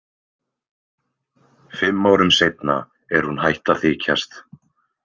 Fimm árum seinna er hún hætt að þykjast.